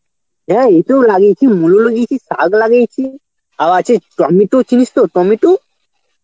হ্যাঁ এই তো লাগিয়েছি মুলো লাগিয়েছি, শাগ লাগিয়েছি আর আছে টমেটো চিনিস তো, টমেটু?